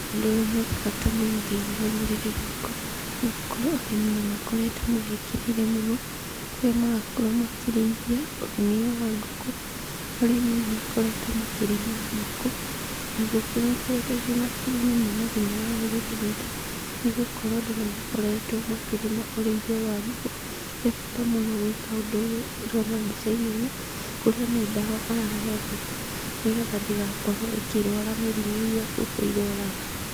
Ũndũ ũyũ nĩũrĩ bata mũno thĩinĩ wa rũrĩrĩ rwakwa, nĩgũkorũo arĩmi nĩmakoretũo mawĩkĩrĩire mũno, kũrĩa marakorũo makĩrĩithia, ũrĩmi ũyũ wa ngũkũ, arĩmi nĩmakoretũo makĩrĩma ngũkũ, na ngũkũ nĩikoretũo ciĩna kĩguni mũno thĩinĩ wa rũrĩrĩ rwitũ, nĩgũkorũo andũ nĩmakoretũo makĩrĩma ũrĩithia ũyũ wa ngũkũ, he bata mũno gwĩka ũndũ ũyũ ndĩrona mbicainĩ ĩno, kũrĩa nĩ ndawa arahe ngũkũ, nĩgetha ndĩgakorwo ĩkĩrũara mĩrimũ ĩrĩa ngũkũ irũaraga.